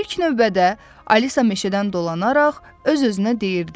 İlk növbədə Alisa meşədən dolanaraq öz-özünə deyirdi: